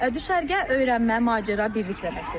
Düşərgə öyrənmə, macəra, birlik deməkdir.